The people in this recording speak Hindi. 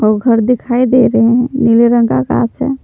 ओ घर दिखाई दे रहे हैं नीले रंग का आकाश है।